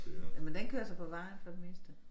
Jamen den kører så på vejen for det meste